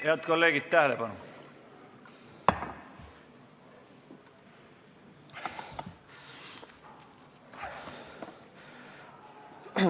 Head kolleegid, tähelepanu!